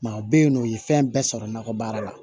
Maa bɛ yen nɔ u ye fɛn bɛɛ sɔrɔ nakɔ baara la